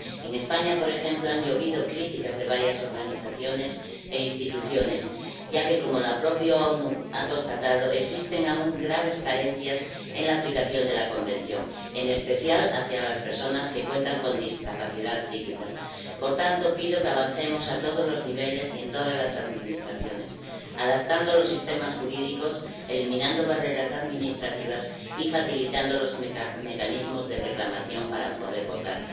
En España, por ejemplo, han llovido críticas de varias organizaciones e instituciones, ya que, como las propias Naciones Unidas han constatado, existen aún graves carencias en la aplicación de la Convención, en especial con respecto a las personas que tienen discapacidad psíquica. Por tanto, pido que avancemos a todos los niveles y en todas las administraciones, adaptando los sistemas jurídicos, eliminando barreras administrativas y facilitando los mecanismos de reclamación para poder votar.